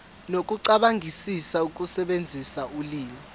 nokucabangisisa ukusebenzisa ulimi